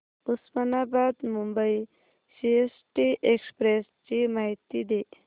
Osmanabad Mumbai CST express ची माहिती दे